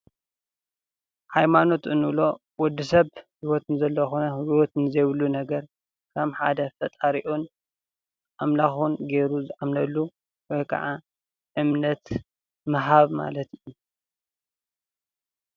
ሃይማኖት እንብሎ ወድሰብ ህይወት ንዘለዎ ኾነ ህይወት ንዘይብሉ ነገር ከም ሓደ ፈጣሪኡን ኣምላኹን ገይሩ ዝኣምነሉ ወይ ከዓ እምነት ምሃብ ማለት እዩ፡፡